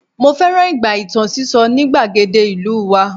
mo fẹràn ìgbà itan siso ni igbagede ìlú wa